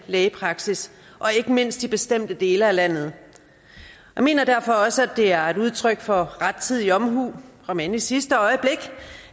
lægepraksis og ikke mindst i bestemte dele af landet jeg mener derfor også at det er et udtryk for rettidig omhu om end i sidste øjeblik